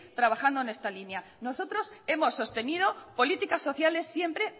trabajando en esa línea nosotros hemos sostenido políticas sociales siempre